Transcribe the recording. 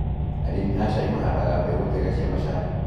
Arĩmi a cai mahandaga mbegũ njega cia macani.